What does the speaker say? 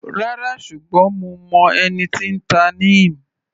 Rárá, ṣùgbọ́n mo mọ ẹni tí n ta Neem.